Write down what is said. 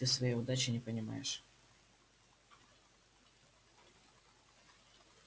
ты своей удачи не понимаешь